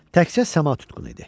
Təkcə səma tutqun idi.